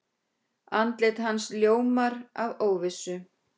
Andlit hans ljómar af óvissu.